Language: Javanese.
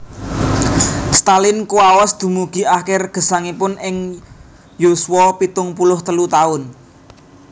Stalin kuwaos dumugi akir gesangipun ing yuswa pitung puluh telu taun